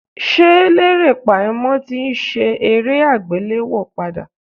Ṣé Lérè Pàímọ́ ti ń ṣe eré àgbéléwò padà ní?